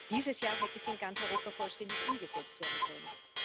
Dieses Jahr hätte sie in ganz Europa vollständig umgesetzt werden sollen.